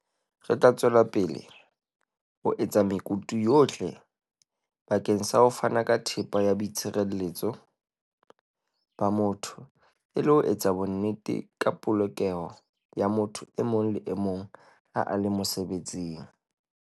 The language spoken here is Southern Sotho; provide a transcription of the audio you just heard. "Re tla tswela pele ho etsa mekutu yohle bakeng sa ho fana ka thepa ya boitshire-letso ba motho e le ho etsa bonnete ba polokeho ya motho e mong le e mong ha a le mosebetsing."